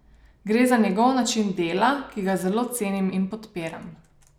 Gre za njegov način dela, ki ga zelo cenim in podpiram.